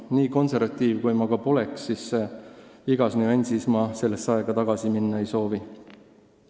Nii konservatiiv kui ma ka pole, iga nüansi mõttes ma sellesse aega tagasi minna ei soovi.